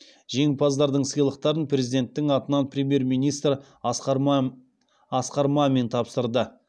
жеңімпаздардың сыйлықтарын президенттің атынан премьер министр асқар мамин тапсырды